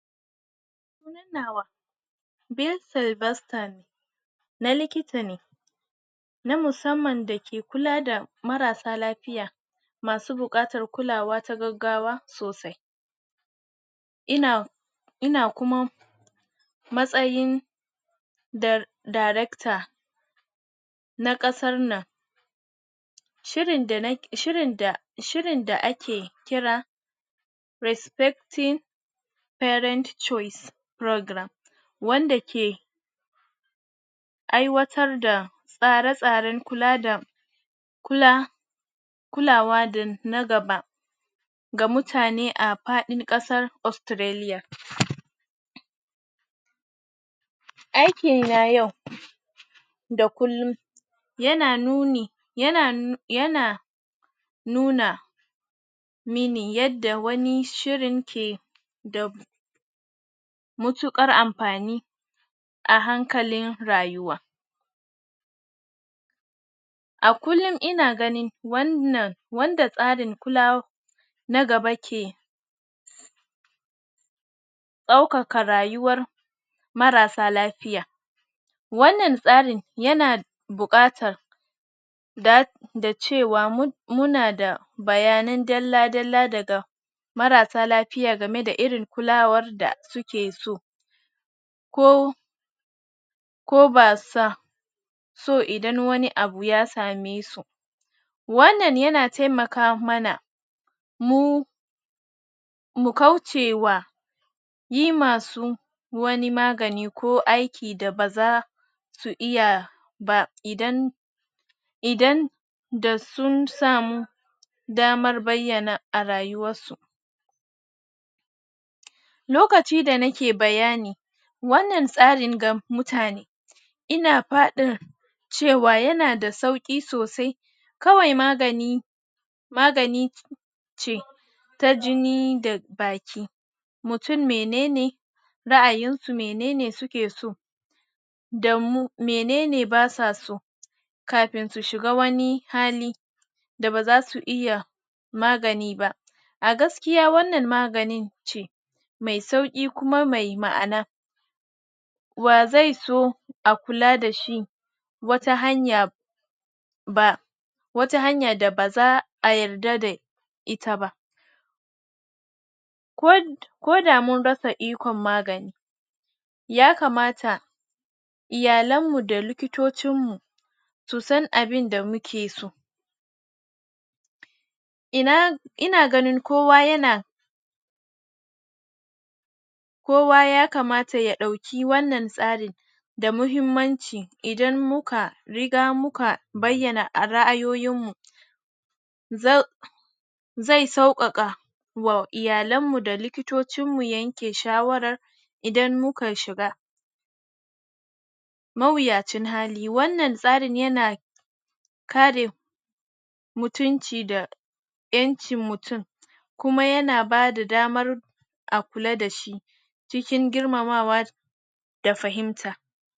Tunawa Na likita ne na musamman da ke kula da marassa lafiya masu buƙatar kulawa ta gaggawa sosai ina ina kuma matsayin da director na ƙasar nan shirin da nake shirin da shirin da ake kira Respecting parent choice program wanda ke ai watar da tsare-tsaren kula da kula kula wa da na gaba ga mutane ga faɗin ƙasar Australia aiki na yau da kullum yana nuni yana yana nuna mini yadda wani shirin ke da mutuƙar amfani a hankalin rayuwa a kullum ina ganin wannan wanda tsarin kula na gaba ke ɗaukaka rayuwar marassa lafiya wannan tsarin yana buƙatar da dacewa muna da bayan dallla dalla daga marassa lafiya game da irin kulawar da suke so ko ko ba sa so idan wani abu ya same su wannan yana taimaka mana mu mu kaucewa yi masu wani magani ko aiki da ba za su iya ba idan idan da sun samu damar bayyana a rayuwarsu lokacin da nike bayani wannan tsarin ga mutane ina faɗin cewa yana da sauƙi sosai kawai magani magani ce ta jini da baki mutum mene ne ra'ayisu mene ne suke so danmu mene ne ba su so kafin su shiga wani hali da ba za su iya magani ba a gaskiya wannan magani ce mai sauƙi kuma mai ma'ana wa zai so a kula da shi wata hanya ba wata hanyar da ba za a yarda da ita ba kod koda mun rasa ikon magani ya kamata iyalanmu da likitocinmu su san abinda muke so ina ina ganin kowa yana kowa ya kamata ya ɗauki wannan tsarin da muhimmanci idab muka riga muka bayyana ra'ayoyinmu zai zai sauƙaƙa wa iyalanmu da likitocinmu yanke shawarar idan muka shiga. mawuyacin hali wannan tsarin yana kare mutunci da ƴancin mutum kuma yana bada damar a kula da shi cikin girmamawa da fahimta